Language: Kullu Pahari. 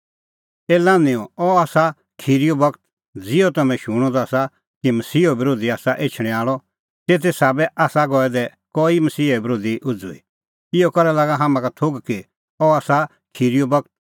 ए लान्हैंओ अह आसा खिरीओ बगत ज़िहअ तम्हैं शूणअ द आसा कि मसीहो बरोधी आसा एछणैं आल़अ तेते साबै आसा गऐ दै कई मसीहा बरोधी उझ़ुई इहअ करै लागा हाम्हां का थोघ कि अह आसा खिरीओ बगत